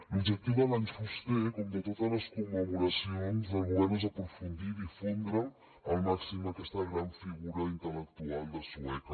l’objectiu de l’any fuster com de totes les commemoracions del govern és aprofundir i difondre al màxim aquesta gran figura intel·lectual de sueca